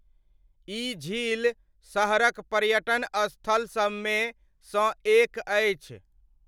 ई झील शहरक पर्यटन स्थल सबमे सँ एक अछि।